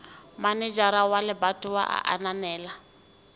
manejara wa lebatowa a ananela